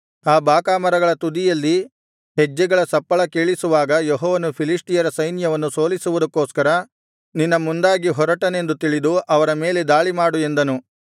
ಆ ಬಾಕಾ ಮರಗಳ ತುದಿಯಲ್ಲಿ ಹೆಜ್ಜೆಗಳ ಸಪ್ಪಳ ಕೇಳಿಸುವಾಗ ಯೆಹೋವನು ಫಿಲಿಷ್ಟಿಯರ ಸೈನ್ಯವನ್ನು ಸೋಲಿಸುವುದಕ್ಕೋಸ್ಕರ ನಿನ್ನ ಮುಂದಾಗಿ ಹೊರಟನೆಂದು ತಿಳಿದು ಅವರ ಮೇಲೆ ದಾಳಿಮಾಡು ಎಂದನು